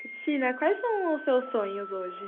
Cristina, quais são os seus sonhos hoje?